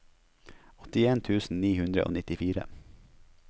åttien tusen ni hundre og nittifire